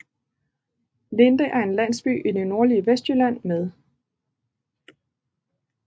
Linde er en landsby i det nordlige Vestjylland med